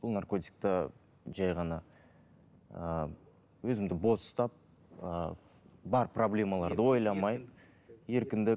бұл наркотикта жай ғана ыыы өзімді бос ұстап ыыы бар проблемаларды ойламай еркіндік